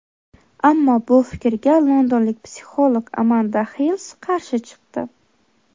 Ammo bu fikrga londonlik psixolog Amanda Hills qarshi chiqdi.